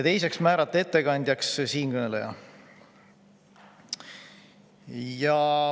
Teiseks otsustati määrata ettekandjaks siinkõneleja.